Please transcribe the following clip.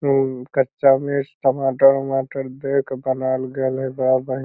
उ कच्चा मेस टमाटर-उमाटर दे क बनाल गेल हय बड़ा बढ़ --